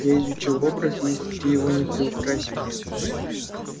я изучил образ и если ты его не приукрасил